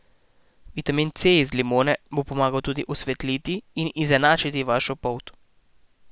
Vitamin C iz limone bo pomagal tudi osvetliti in izenačiti vašo polt.